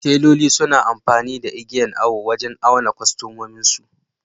Teloli suna amfani igiyan awo wajan auna kwastomominsu